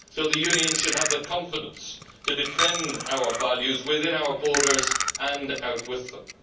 so the Union should have the confidence to defend our values within our borders and outwith them.